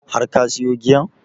Har ka siyo giyan?